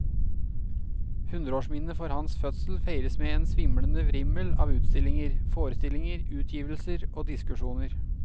Hundreårsminnet for hans fødsel feires med en svimlende vrimmel av utstillinger, forestillinger, utgivelser og diskusjoner.